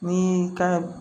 Ni kan